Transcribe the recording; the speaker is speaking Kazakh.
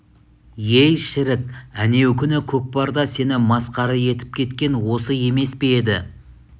ей шірік әнеукүні көкпарда сені масқара етіп кеткен осы емес пе еді